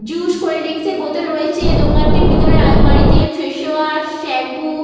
Juice cold drinks রয়েছে। দোকানটির ভিতরে আলমারিতে ফেস ওয়াস স্যাম্পু --